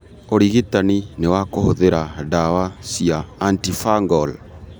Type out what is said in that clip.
Ũrigitani nĩ wa kũhũthĩra ndawa cia antifungal.